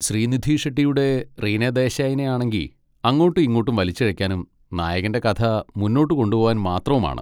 ശ്രീനിധി ഷെട്ടിയുടെ റീനാ ദേശായിനെ ആണെങ്കി അങ്ങോട്ടും ഇങ്ങോട്ടും വലിച്ചിഴക്കാനും നായകൻ്റെ കഥ മുന്നോട്ട് കൊണ്ടുപോവാൻ മാത്രവും ആണ്.